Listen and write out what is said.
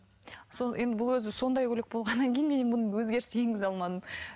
сол енді бұл өзі сондай көйлек болғаннан кейін мен енді бұны өзгеріс енгізе алмадым